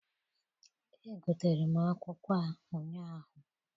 Egotere m akwụkwọ a ụnyaahụ.